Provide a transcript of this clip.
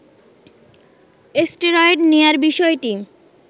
steroid নেয়ার বিষয়টি